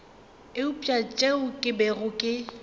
eupša seo ke bego ke